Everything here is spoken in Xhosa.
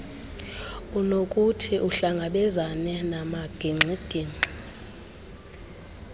unokuthi uhlangabezane namagingxigingxi